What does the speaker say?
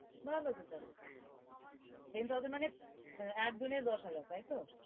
ভালো তো তাহলে, ten thousand মানে একজনের দশ হাজার তাই তো?